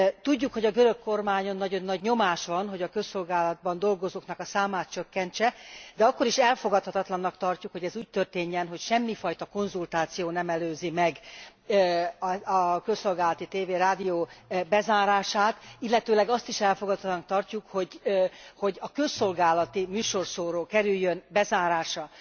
Tudjuk, hogy a görög kormányon nagyon nagy nyomás van, hogy a közszolgálatban dolgozóknak a számát csökkentse, de akkor is elfogadhatatlannak tartjuk, hogy ez úgy történjen, hogy semmi fajta konzultáció nem előzi meg a közszolgálati tévé, rádió bezárását, illetőleg azt is elfogadhatatlannak tartjuk, hogy a közszolgálati műsorszóró kerüljön bezárásra.